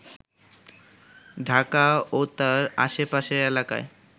ঢাকা ও তার আশেপাশের এলাকায়